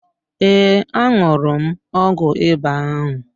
Ee, aṅụrụ m ọgwụ ịba ahụ.